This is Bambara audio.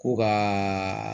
Ko ka